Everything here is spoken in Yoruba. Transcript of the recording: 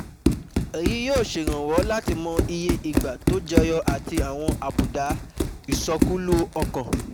Èyí yóò ṣèrànwọ́ láti mọ iye ìgbà tó jẹyọ àti àwọn àbùdá ìsọkúlú ọkàn